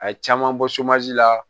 A ye caman bɔ soma ji la